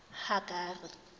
hagari